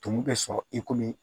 Tumu bɛ sɔrɔ i komi